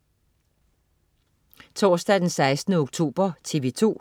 Torsdag den 16. oktober - TV 2: